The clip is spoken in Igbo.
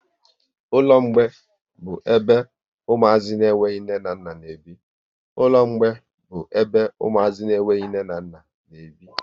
Ụlọ mgbei bụ ebe umuazi na enweghị nne na nna n'ebi